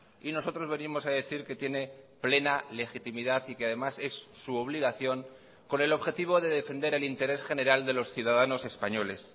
y nosotros venimos a decir que tiene plena legitimidad y que además es su obligación con el objetivo de defender el interés general de los ciudadanos españoles